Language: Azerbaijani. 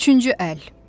Üçüncü əl.